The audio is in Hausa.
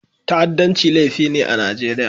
Ta'addanci laifi ne a Najeriya.